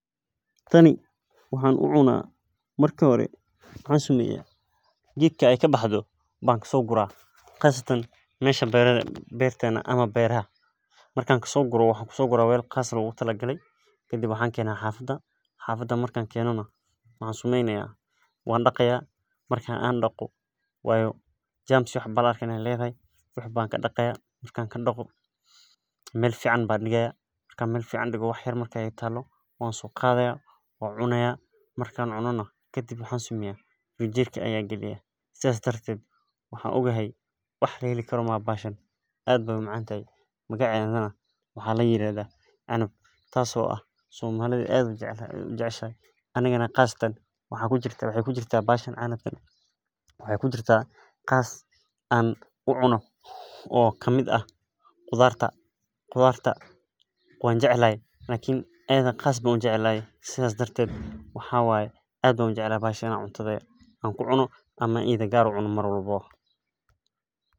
Tani waxaan u cunaah marki hore waxan sameyaah gedka ay kabaxdo ban kaso guraah, qasatan mesha berada eh, bertena ama beraha. Markan kaso guro waxan kusoguraah wel qas eh logutalagale, kadib waxaan kenaah xafada, xafada markan keno nah waxaan sameynayah wan daqayaah, marka an daqo nah waayo germs iyo wax ba laarkah in ay ledahay, wan kadaqayaah, markan kadaqo mel fican ban digayaah, marka fican digo wax yar markay ii talo wan so qadayaa, wan cunayaa, markan cuno nah kadib waxaan sameyaah frinjerka ayan galinaya, sidas darted waxaan ogahay wax laheli karo maaha bahashan, ad bay u macantahay magacedana waxaa layirahdaa canab, tas oo ah somalida ad ay ujeceshahay , anigana qasatan waxay kujirtah bahashan canab eh waxay kujirtah qas an u cuno oo kamid ah qudarta. Qudarta wanjeclahay lakin ayada qas ban ujeclahay, sidas darted waxa waye ad ban ujeclhy bahashan inaa cuntadha ku cuno ama idha gar an u cuno mar walbawo.